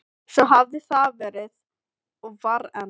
Svo hafði það verið og var enn.